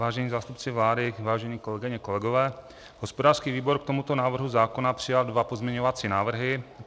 Vážení zástupci vlády, vážené kolegyně, kolegové, hospodářský výbor k tomuto návrhu zákona přijal dva pozměňovací návrhy.